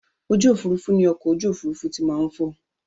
Ojú òfurufú ni ọkọ̀ ojú òfurufú ti máa ń fò